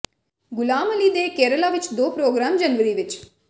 ਗ਼ੁਲਾਮ ਅਲੀ ਦੇ ਕੇਰਲਾ ਵਿੱਚ ਦੋ ਪ੍ਰੋਗਰਾਮ ਜਨਵਰੀ ਵਿੱਚ